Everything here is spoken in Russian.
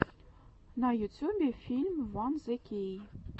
на ютюбе фильм ван зе кей